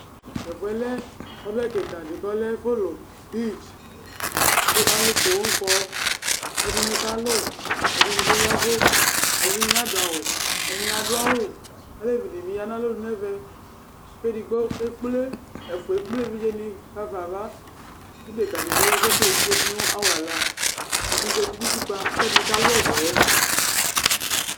Tɛfʋɛ lɛ ɔbɛ kɩka ɖɩ ƙ' ɔlɛ ɛfʋlʋ fligƘʋ alʋ poo ƙɔƐɖɩnɩ ƙalʋ, ɛɖɩnɩ bɩ ƴavʋ, ɛɖɩnɩ bɩ naɖʋ awʋ, ɛɖɩnɩ aɖʋ awʋAlevi ɖɩnɩ bɩ ƴa nʋ alonu n' ɛmɛ, ɛfʋa eƙple eviɖze nɩ ɣafa ava ƙʋ ɖeƙǝ ɖɩ bɩ ya, l' eƙple eviɖze ɖɩ ɖʋ n'awala Ɛdɩ zati nʋ utiƙpǝ ,ƙʋ ɛɖɩ ƙalʋ ɔbɛɛ